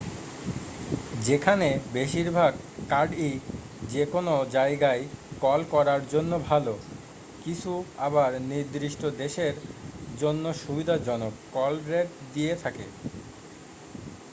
যেখানে বেশিরভাগ কার্ডই যেকোনো জায়গায় কল করার জন্য ভালো কিছু আবার নির্দিষ্ট দেশের জন্য সুবিধাজনক কল রেট দিয়ে থাকে